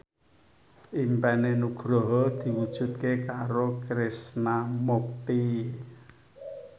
impine Nugroho diwujudke karo Krishna Mukti